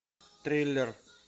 триллер